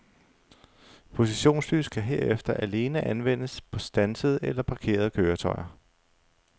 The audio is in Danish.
Positionslys kan herefter alene anvendes på standsede eller parkerede køretøjer.